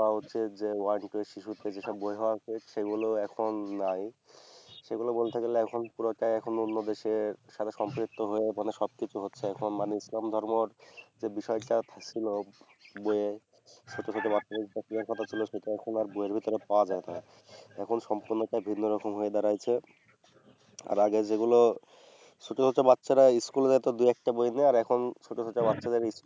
যে ছোট ছোট বাচ্চাদের যেসব শেখার কথা ছিল সেসব আর বইয়ের মধ্যে পাওয়া যায় না। এখন সম্পূর্ণটাই ভিন্ন রকম হয়ে দাঁড়াইছে। আর আগে যেগুলো ছোট ছোট বাচ্চা ইস্কুলে যেত দুই একটা বই নিয়া আর এখন ছোট ছোট বাচ্চাদের